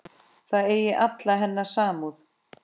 Það eigi alla hennar samúð.